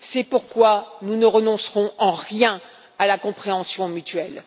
C'est pourquoi nous ne renoncerons en rien à la compréhension mutuelle.